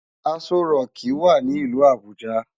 Asó ròki wá ni ilù Abuja